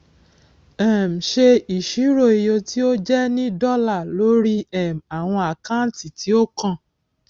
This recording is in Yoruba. um ṣe isiro iye tí ó jẹ ní dọlà lórí um àwọn àkáǹtì tí ó kàn